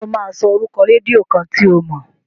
Ṣé ó máa sọ orúkọ rédíó kan tí o mọ̀?